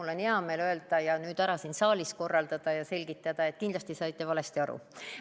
Mul on hea meel öelda ja nüüd siin saalis selgitada, et te kindlasti saite valesti aru.